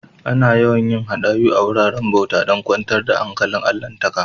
Ana yawan yin hadayu a'wuraren bauta dan kwantar da hankalin allahntaka.